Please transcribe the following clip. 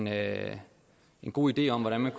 have en god idé om hvordan man